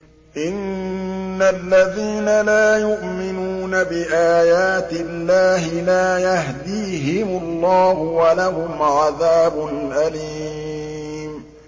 إِنَّ الَّذِينَ لَا يُؤْمِنُونَ بِآيَاتِ اللَّهِ لَا يَهْدِيهِمُ اللَّهُ وَلَهُمْ عَذَابٌ أَلِيمٌ